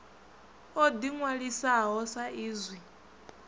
o ḓi ṅwalisaho sa izwi